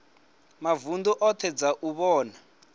mavunḓu oṱhe dza u vhona